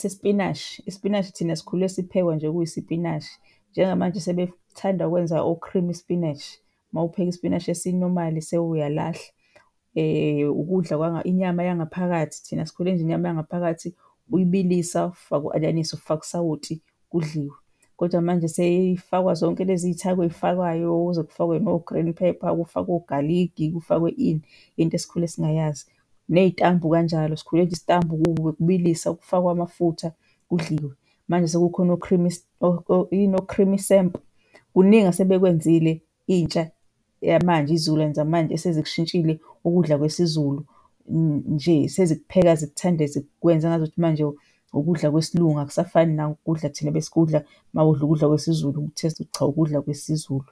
sesipinashi, isipinashi thina sikhule siphekwa nje kuyisipinashi. Njengamanje sebethanda ukwenza o-creamy spinach, mawupheka ispinashi esi-normal sewuyalahla. Ukudla , inyama yangaphakathi, thina sikhule nje inyama yangaphakathi uyibilisa ufake u-anyanisi, ufake usawoti kudliwe kodwa manje seyifakwa zonke lezi y'thako ey'fakwayo kuze kufakwe no-green pepper, kufakwe ogaligi, kufakwe ini, into esikhule singayazi. Ney'tambu kanjalo, sikhule nje isitambu bekubiliswa kufakwe amafutha kudliwe, manje sekukhona o-creamy , yini o-creamy samp. Kuningi asebekwenzile intsha yamanje, izizukulwane zamanje esezikushintshile ukudla kwesiZulu, nje. Sezikupheka, zikuthande, zikwenze engazukuthi manje ukudla kwesiLungu. Akusafani nokudla thina ebesikudla mawudla ukudla kwesiZulu uku-taste-a ukuthi cha, ukudla kwesiZulu.